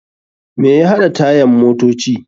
Me ya haɗa tayan motoci?